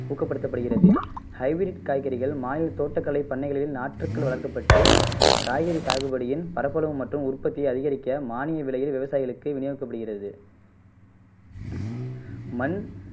ஊக்கப்படுத்தப் படுகிறது ஹைபிரிட் காய்கறிகள் மாநில தோட்டக்கலை பண்ணைகளில் நாற்றுக்கள் வளர்க்கப்பட்டு காய்கறி சாகுபடியின் பரப்பளவு மற்றும் உற்பத்தியை அதிகரிக்க மானிய விலையில் விவசாயிகளுக்கு வினியோகிக்கப் படுகிறது மண்